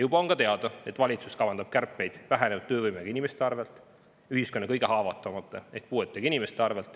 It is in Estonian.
Juba on ka teada, et valitsus kavandab kärpeid vähenenud töövõimega inimeste arvel, ühiskonna kõige haavatavamate ehk puuetega inimeste arvel.